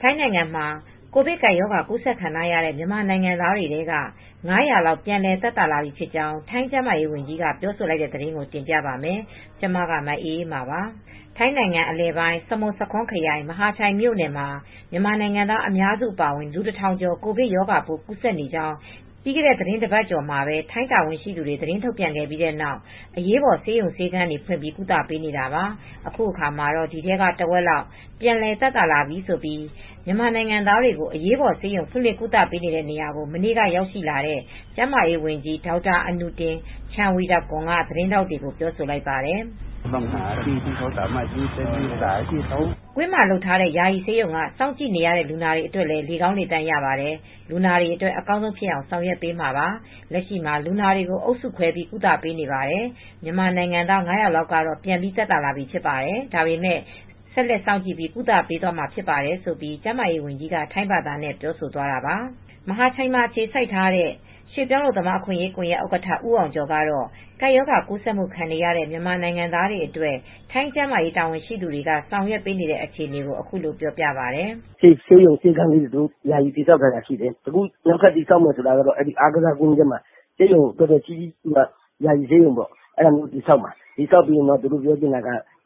ထိုင်းနိုင်ငံမှာ ကိုဗစ်ကပ်ရောဂါ ကူးစက်ခံရတဲ့ မြန်မာနိုင်ငံသားတွေထဲက ၅၀၀ လောက် ပြန်လည်သက်သာလာပြီ ဖြစ်ကြောင်း ထိုင်း ကျန်းမာရေးဝန်ကြီးက ပြောဆိုလိုက်တဲ့သတင်းကို ဗွီအိုအေမြန်မာပိုင်း သတင်းထောက် မအေးအေးမာက တင်ပြပေးပါမယ်။ ထိုင်းနိုင်ငံအလယ်ပိုင်း စမွတ်ဆာခွန်းခရိုင် မဟာချိုင်မြို့မှာ မြန်မာနိုင်ငံသား အများစု အပါအဝင် လူ ၁,၀၀၀ ကျော် ကိုဗစ်ရောဂါပိုး ကူးစက်နေကြောင်း ပြီးခဲ့တဲ့ သီတင်းပတ်ကျော်မှာပဲ ထိုင်းတာဝန်ရှိသူတွေ သတင်းထုတ်ပြန်ခဲ့ပြီးနောက် အရေးပေါ် ဆေးရုံဆေးခန်းတွေဖွင့် ကုသပေးနေတာပါ။ အခုအခါမှာတော့ ဒီထဲက တဝက်လောက် ပြန်လည်သက်သာလာပြီလို့ မြန်မာနိုင်ငံသားတွေကို အရေးပေါ်ဆေးရုံ ဖွင့်လှစ်ကုသပေးနေတဲ့ နေရာကို မနေ့က ရောက်ရှိလာတဲ့ ကျန်းမာရေး ဝန်ကြီး ဒေါက်တာ အနုတင် ချန်ဝီရကွန်က သတင်းထောက်တွေကို ပြောဆိုလိုက်ပါတယ်။ "ကွင်းမှာ လုပ်ထားတဲ့ ယာယီဆေးရုံက စောင့်ကြည့်နေရတဲ့ လူနာတွေအတွက်လည်း လေကောင်းလေသန့်ရတယ်၊ လူနာတွေအတွက် အကောင်းဆုံးဖြစ်အောင်ဆောင်ရွက်ပေးမှာပါ။ လက်ရှိမှာ လူနာတွေကို အုပ်စုတွေ ခွဲပြီးကုသပေးနေပါတယ် မြန်မာနိုင်ငံသား ၅၀၀ လောက်က ပြန်ပြီးသက်သာလာပြီဖြစ်ပါတယ်။ ဒါပေမဲ့ ဆက်လက်စောင့်ကြည့်ပြီး ကုသပေးသွားမှာဖြစ်ပါတယ်။" ကျန်းမာရေးဝန်ကြီးက ထိုင်းဘာသာနဲ့ ပြောဆိုသွားတာပါ။ မဟာချိုင်မှာ အခြေစိုက်ထားတဲ့ ရွှေ့ပြောင်းအလုပ်သမား အခွင့်အရေး ကွန်ယက်ဥက္ကဋ္ဌ ဦးအောင်ကျော်ကတော့ ကပ်ရောဂါ ကူးစက်မှုခံနေရတဲ့ မြန်မာနိုင်ငံသားတွေအတွက် ထိုင်းကျန်းမာရေးတာဝန်ရှိသူတွေ ဆောင်ရွက်နေတဲ့ အခြေအနေကို အခုလို ပြောပြပါတယ်။ "ဆေးရုံဆေးခန်းလေးတွေ ယာယီတည်ဆောက်ထားတာဖြစ်တယ်။ အခုနောက်ထပ် တည်ဆောက်မှာက ဆေးရုံကြီးကြီးကို ကွင်းထဲမှာ တည်ဆောက်နေတာ အဲဒီလိုတည်ဆောက်ပြီးစီးခဲ့ရင်